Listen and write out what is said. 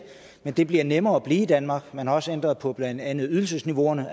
men det bliver nemmere at blive i danmark man har også ændret på blandt andet ydelsesniveauerne